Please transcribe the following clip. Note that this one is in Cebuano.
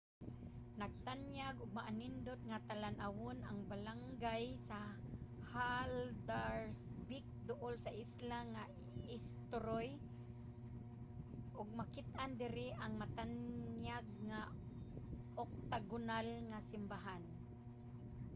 nagtanyag og maanindot nga talan-awon ang balangay sa haldarsvík duol sa isla nga eysturoy ug makit-an diri ang matanyag nga oktagonal nga simbahan